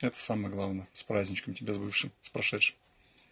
это самое главное с праздничком тебя с бывшим с прошедшим